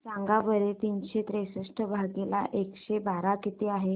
सांगा बरं तीनशे त्रेसष्ट भागीला एकशे बारा किती आहे